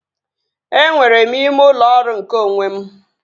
Enwere m ime ụlọ ọrụ nke onwe m